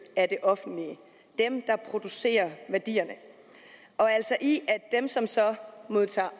af det offentlige dem der producerer værdierne dem som så modtager